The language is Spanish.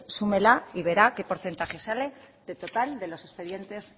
súmela y verá qué porcentaje sale del total de los expedientes